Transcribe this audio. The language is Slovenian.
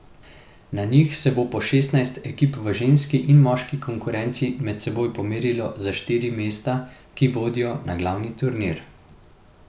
Na njih se bo po šestnajst ekip v ženski in moški konkurenci med seboj pomerilo za štiri mesta, ki vodijo na glavni turnir.